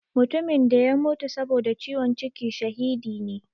Mutumin da ya mutu saboda ciwon ciki shahidi ne.